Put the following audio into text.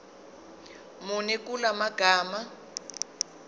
muni kula magama